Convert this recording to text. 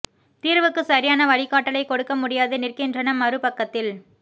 தீர்வுக்கு சரியான வழிகாட்டலைக் கொடுக்க முடியாது நிற்கின்றன மறு பக்கத்தில்